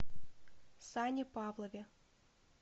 сане павлове